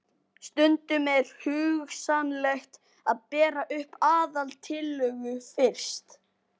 Stundum er hugsanlegt að bera upp aðaltillögu fyrst.